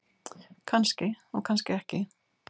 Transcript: Kannski og kannski ekki.